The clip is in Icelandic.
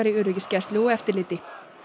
öryggisgæslu og eftirliti